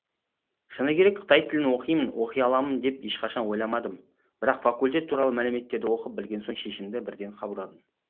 шыны керек қытай тілін оқимын оқи аламын деп ешқашан ойламадым бірақ факультет туралы мәліметтерді оқып білген соң шешімді бірден қабылдадым